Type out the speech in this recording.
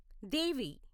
దేవి